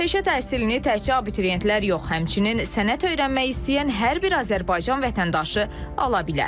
Peşə təhsilini təkcə abituriyentlər yox, həmçinin sənət öyrənmək istəyən hər bir Azərbaycan vətəndaşı ala bilər.